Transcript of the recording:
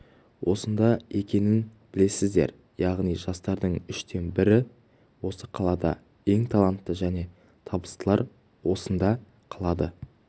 осында екенін білесіздер яғни жастардың үштен бірі осы қалада ең таланты және табыстылар осында қалады